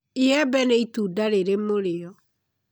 Iembe nĩ itunda rĩrĩ mũrĩo